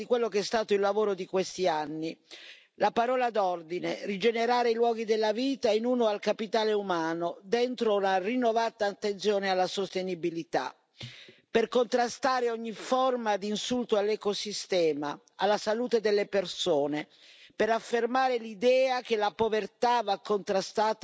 La parola d'ordine rigenerare i luoghi della vita in uso al capitale umano, dentro la rinnovata attenzione alla sostenibilità, per contrastare ogni forma di insulto all'ecosistema e alla salute delle persone, per affermare l'idea che la povertà va contrastata, appunto, con scelte di visione.